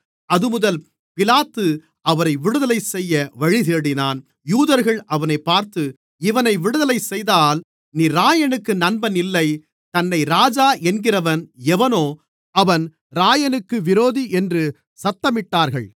அதுமுதல் பிலாத்து அவரை விடுதலை செய்ய வழி தேடினான் யூதர்கள் அவனைப் பார்த்து இவனை விடுதலை செய்தால் நீர் இராயனுக்கு நண்பன் இல்லை தன்னை ராஜா என்கிறவன் எவனோ அவன் இராயனுக்கு விரோதி என்று சத்தமிட்டார்கள்